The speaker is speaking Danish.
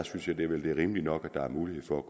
synes jeg det vel er rimeligt nok at der er mulighed for